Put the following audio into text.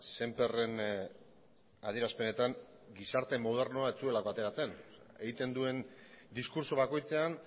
sémperren adierazpenetan gizarte modernoa ez zuela ateratzen egiten duen diskurtso bakoitzean